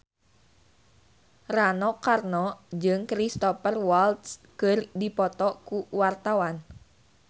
Rano Karno jeung Cristhoper Waltz keur dipoto ku wartawan